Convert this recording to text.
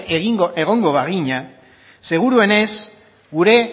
egongo bagina seguruenez gure